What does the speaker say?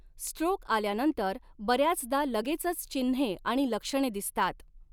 Stroke आल्यानंतर बऱ्याचदा लगेचच चिन्हे आणि लक्षणे दिसतात.